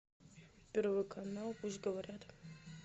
первый канал пусть говорят